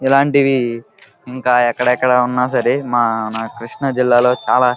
ఇలాంటివి ఇంకా ఎక్కడ ఎక్కడ ఉన్న సరే మా న కృష్ణ జిల్లా లో చాలా --